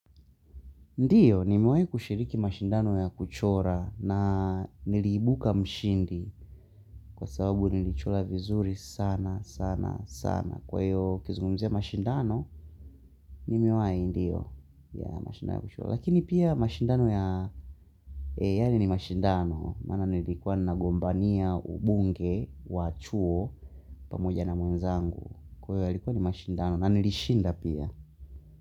Ndiyo, nimiwai kushiriki mashindano ya kuchora na nilibuka mshindi kwa sababu nilichora vizuri sana sana sana. Kwa hiyo ukizungumzia mashindano, nimiwai ndiyo ya mashindano ya kuchora. Lakini pia mashindano ya, e ya ni ni mashindano, maana nilikuwa na gombania ubunge, wachuo, pamoja na mwenzangu. Kwa hiyo yalikuwa ni mashindano na nilishinda pia.